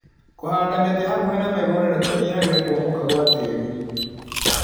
Kũhanda mĩtĩ hakuhĩ na mĩgunda nĩkunyihagia kũmomoka gwa tĩri.